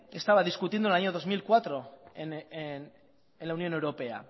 estaba discutiendo en el año dos mil cuatro en la unión europea